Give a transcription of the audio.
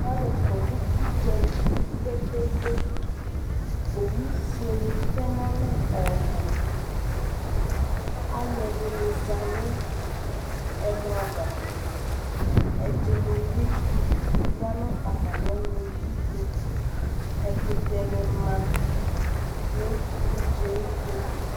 alo kɔ no udzali kpekpekpe owu fuele tɛ no alɛ ɔbo alo ɛdini za no ɛmɔ ava ɛdini bi ya no atami ɔno yi to ɛkotɛ ne ma no udzaɛ to